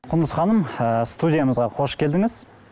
құндыз ханым ы студиямызға қош келдіңіз